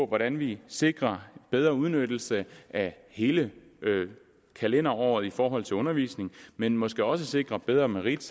hvordan vi sikrer bedre udnyttelse af hele kalenderåret i forhold til undervisning men måske også sikrer bedre merit